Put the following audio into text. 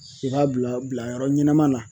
I b'a bila bilayɔrɔ ɲɛnɛma la